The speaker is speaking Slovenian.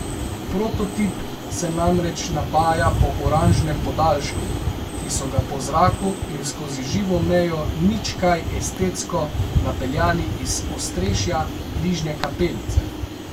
Prototip se namreč napaja po oranžnem podaljšku, ki so ga po zraku in skozi živo mejo nič kaj estetsko napeljali iz ostrešja bližnje kapelice.